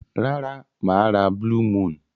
Rara, maa ra blue moon.